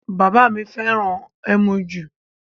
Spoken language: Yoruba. Bàbá mi fẹ́ràn ẹmu ju